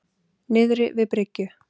Niðri við bryggju.